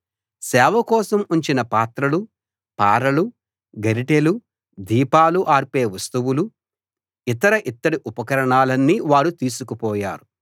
సేవ కోసం ఉంచిన పాత్రలు పారలు గరిటెలు దీపాలు ఆర్పే వస్తువులు ఇతర ఇత్తడి ఉపకారణాలన్నీ వారు తీసుకుపోయారు